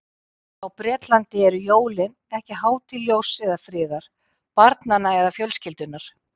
Á Bretlandi eru jólin ekki hátíð ljóss eða friðar, barnanna eða fjölskyldunnar.